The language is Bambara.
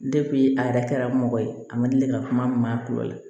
a yɛrɛ kɛra mɔgɔ ye a ma deli ka kuma min ma kulɔyi